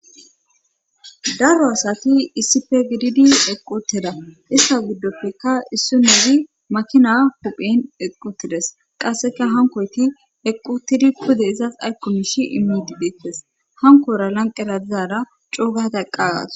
Daro asati issife gididi equteda issa giddopfeka issu neezi makina huphen eqqutides qasseka hankoyti equtidi kude izas aykkomishi imidi deettes hankora lanqera dizara coogata eqqagas